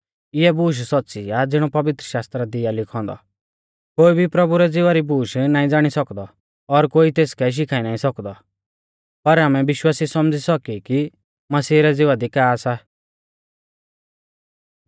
इऐ बूश सौच़्च़ी आ ज़िणौ पवित्रशास्त्रा दी आ लिखौ औन्दौ कोई भी प्रभु रै ज़िवा री बूश नाईं ज़ाणी सौकदौ और कोई तेसकै शिखाई नाईं सौकदौ पर आमै विश्वासी सौमझ़ी सौकी कि मसीह रै ज़िवा दी का सा